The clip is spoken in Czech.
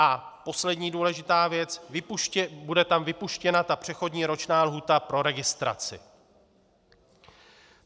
A poslední důležitá věc, bude tam vypuštěna ta přechodná roční lhůta pro registraci.